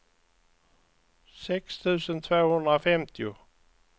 sex tusen tvåhundrafemtio